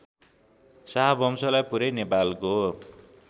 शाहवंशलाई पुरै नेपालको